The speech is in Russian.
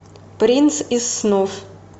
принц из снов